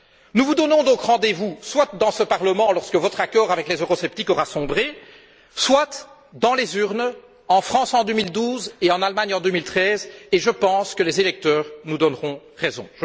Nous vous donnons donc rendez vous, soit dans ce Parlement lorsque votre accord avec les eurosceptiques aura sombré, soit dans les urnes en France en 2012 et en Allemagne en 2013, et je pense que les électeurs nous donneront raison.